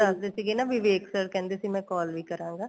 ਦੱਸਦੇ ਸੀਗੇ ਨਾ ਵਿਵੇਕ sir ਕਹਿੰਦੇ ਸੀਗੇ ਨਾ ਮੈਂ call ਵੀ ਕਰਾਂਗਾ